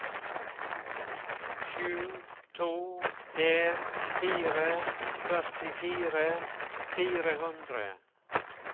sju to en fire førtifire fire hundre